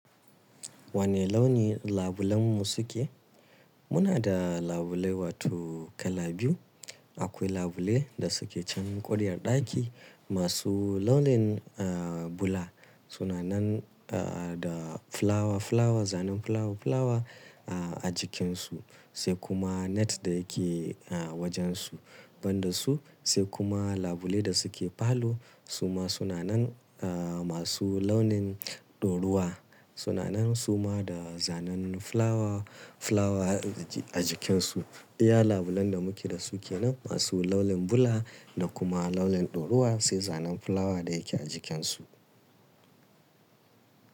Wane launi labulen mu suke? Muna da labulai wato kala biyu. Akwai labulai da suke can ƙuryar ɗaki. Ma su launin, eh, bula. Su na nan, eh, da fulawa fulawa, zanen fulawa fulawa, ah, a jikinsu. Sai kuma net da ya ke, ah, wajen su. Ban da su sai kuma labulai da suke falo. Su ma suna nan, ah, masu launin ɗoruwa. Su na nan su ma da zanen fulawa fulawa a ji-a jikinsu. Iya labulen da muke da su ke nan ma su launin bula da kuma launin ɗoruwa sai zanen fulawa da ya ke a jikinsu.